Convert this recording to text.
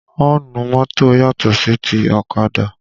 Ọ́ǹnù mọ́tò yàtò sí ti ọ̀kadà